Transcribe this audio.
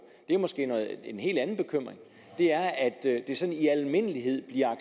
er måske en helt anden bekymring det er at det sådan i al almindelighed bliver